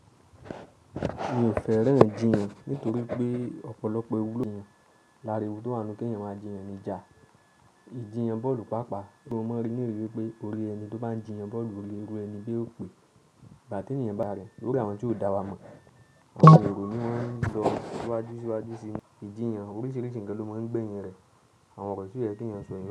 Mi ò fẹ́ràn jíyan nítorí pé ọ̀pọ̀lọpọ̀ ewúró yàn láre owurọ̀ tó hanu pé yẹn ma jíyan níjà. Ìjíyan bọ́ọ̀lù páápàá, bí o mọ̀ rí ní ìrírí wípé orí ẹni tó bá ń jíyan bọ́ọ̀lù orí ẹrú ẹni gẹ́ẹ́ ó pé. Ìgbà tí ènìyàn bá rẹ, lórí àwọn ohun tí ó dá wa mọ̀, àwọn èrò ni wọ́n ń lọ síwájú síwájú sí ìjíyan. Oríṣiríṣi nǹkan ló mọ̀ ń gbẹ̀yin rẹ. Àwon nnkan ti ò yẹ kèèyàn sọ.